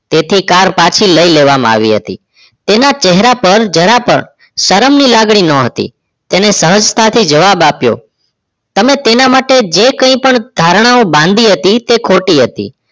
તેથી car પાછી લઈ લેવામાં આવી હતી તેના ચહેરા પર જરા પણ શરમ ની લાગણી ન હતી તેને હજતા થી જવાબ અપીયો તમે તેના માટે જે કઈ પણ ધારણ બાંધી હતી તે ખોટી હતી